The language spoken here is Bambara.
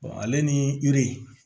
ale ni yiri